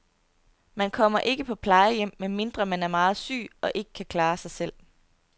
Man kommer ikke på plejehjem, medmindre man er meget syg og ikke kan klare sig selv.